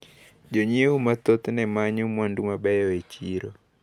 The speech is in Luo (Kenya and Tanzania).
Jonyiewo mathoth nemanyo mwandu mabeyo e chiro.